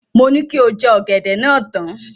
Mo ní kí o jẹ ọ̀gẹ̀dẹ̀ náà tán.